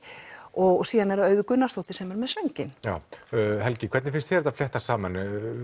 og síðan er það Auður Gunnarsdóttir sem er með sönginn já Helgi hvernig finnst þér þetta fléttast saman